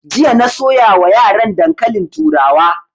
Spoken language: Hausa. Jiya na soya wa yaran dankalin turawa